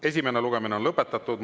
Esimene lugemine on lõpetatud.